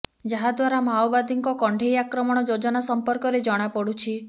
ଯାହା ଦ୍ବାରା ମାଓବାଦୀଙ୍କ କଣ୍ଢେଇ ଆକ୍ରମଣ ଯୋଜନା ସମ୍ପର୍କରେ ଜଣାପଡୁଛି